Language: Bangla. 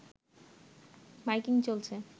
মাইকিং চলছে